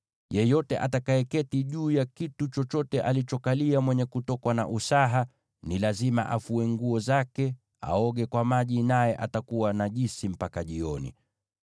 Yeyote atakayeketi juu ya kitu chochote alichokalia mwenye kutokwa na usaha, ni lazima afue nguo zake, na aoge kwa maji, naye atakuwa najisi mpaka jioni.